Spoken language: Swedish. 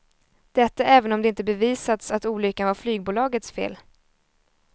Detta även om det inte bevisats att olyckan var flygbolagets fel.